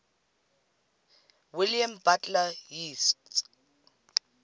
william butler yeats